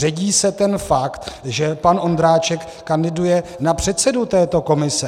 Ředí se ten fakt, že pan Ondráček kandiduje na předsedu této komise.